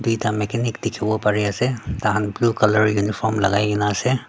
etia mechanic tekibo pari ase taikan blue colour uniform lagaikina ase.